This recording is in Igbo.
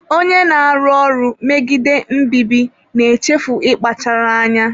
Onye na-arụ ọrụ megide mbibi na-echefu ịkpachara anya